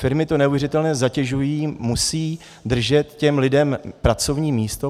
Firmy to neuvěřitelně zatěžuje, musí držet těm lidem pracovní místo.